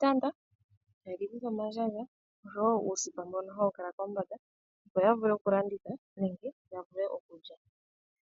taye shikutha omandjandja osho wo uusipa mbono hawu kala kombanda, opo yavule oku landitha nenge ya vule okulya.